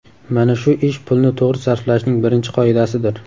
Mana shu ish pulni to‘g‘ri sarflashning birinchi qoidasidir.